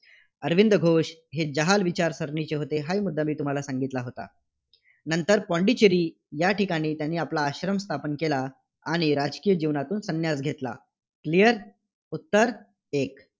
अरविंद घोष हे जहाल विचारसरणीचे होते. हाही मुद्दा तुम्हाला सांगितला होता. नंतर पाँडेचेरी या ठिकाणी त्यांनी आपला आश्रम स्थापन केला, आणि राजकीय जीवनातून संन्यास घेतला. clear उत्तर एक